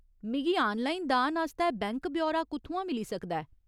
मिगी आनलाइन दान आस्तै बैंक ब्यौरा कु'त्थुआं मिली सकदा ऐ ?